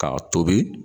K'a tobi